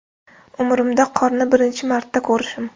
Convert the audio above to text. Umrimda qorni birinchi marta ko‘rishim”.